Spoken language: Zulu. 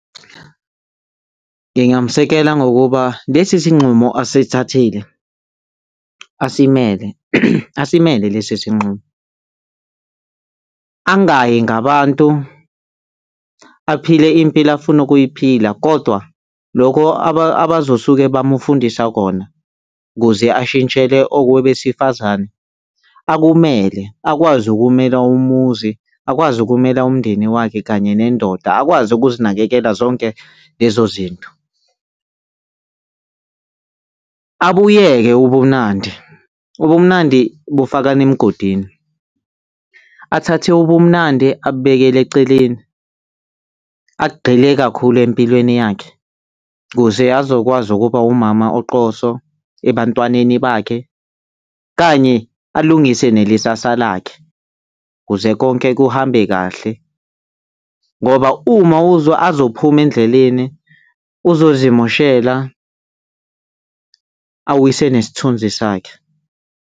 Ngingamsekela ngokuba, lesisinqumo asithathile, asimele lesi sinqumo. Angayi ngabantu, aphile impilo afuna ukuyiphila kodwa lokho abazosuke bamufundisa kona kuze ashintshele okuba abesifazane akumele, akwazi ukumela umuzi, akwazi ukumela umndeni wakhe kanye nendoda, akwazi ukuzinakekela zonke lezo zinto. Abuyeke ubumnandi, ubumnandi bufakana emgodini, athathe ubumnandi, abubekele eceleni, agxile kakhulu empilweni yakhe kuze azokwazi ukuba umama oqoso ebantwaneni bakhe kanye alungise nelisasa lakhe kuze konke kuhambe kahle ngoba uma azophuma endleleni, uzozimoshela awise nesithunzi sakhe.